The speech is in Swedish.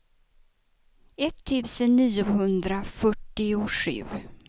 etttusen niohundrafyrtiosju